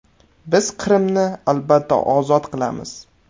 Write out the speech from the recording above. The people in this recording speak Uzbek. Biz Qrimni albatta ozod qilamiz.